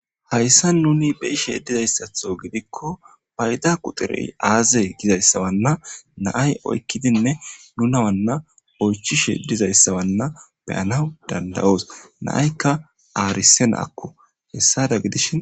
Hayssa nuni bei sheedizayssatho gidikko payda quxurey aaze gizayssawanna naay oykkidinne nuna wanna oychishe dizayssawanna beyanaw dandayos naaykka aarise naakko hessada gidishi.